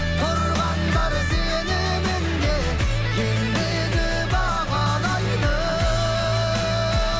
тұрғандар сеніміне ендігі бағлайды